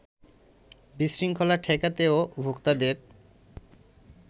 বিশৃঙ্খলা ঠেকাতে ও ভোক্তাদের